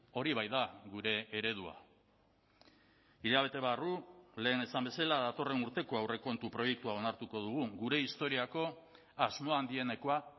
hori baita gure eredua hilabete barru lehen esan bezala datorren urteko aurrekontu proiektua onartuko dugu gure historiako asmo handienekoa